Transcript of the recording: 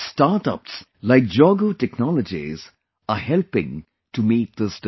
Startups like Jogo Technologies are helping to meet this demand